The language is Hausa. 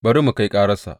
Bari mu kai kararsa!